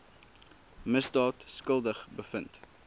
misdaad skuldig bevind